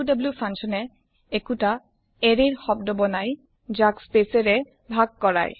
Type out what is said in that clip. coup function এ একোটা শব্দ ৰ এৰে বনাই যাক স্পেচ এ ভাগ কৰে